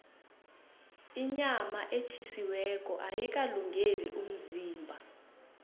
inyama etjhisiweko ayikalungeli umzimba